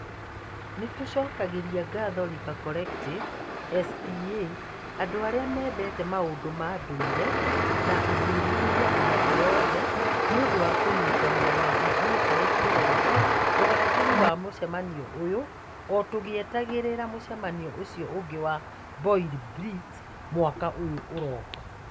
Nĩ tũcokagĩria ngatho River Collective, ESPA, andũ arĩa mendete maũndũ ma ndũire, na athuthuria a thĩ yothe nĩ ũndũ wa kũnyitanĩra na ithuĩ harĩ kũrehe ũgaacĩru wa mũcemanio ũyũ, o tũgĩetagĩrĩra mũcemanio ũcio ũngĩ wa BioBlitz mwaka ũyũ ũroka.